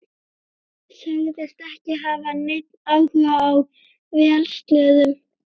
Sagðist ekki hafa neinn áhuga á vélsleðum.